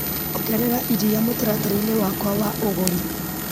Ongerera iria mũtaratara-ini wakwa wa ũgũri .